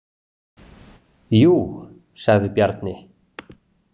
Jú, sagði Bjarni.